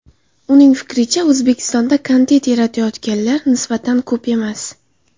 Uning fikricha, O‘zbekistonda kontent yaratayotganlar nisbatan ko‘p emas.